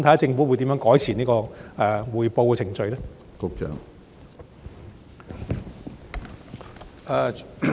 政府會如何改善匯報的程序呢？